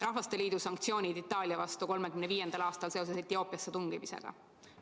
Rahvasteliidu sanktsioonid Itaalia vastu 1935. aastal seoses Etioopiasse tungimisega.